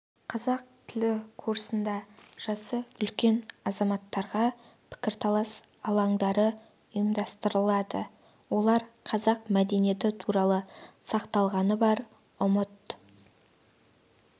қазақ тілі курсында жасы үлкен азаматтарға пікірталас алаңдары ұйымдастырылады олар қазақ мәдениеті туралы сақталғаны бар ұмыт